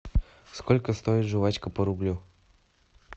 сколько стоит жвачка по рублю